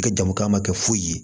I ka jamu kan ka kɛ foyi ye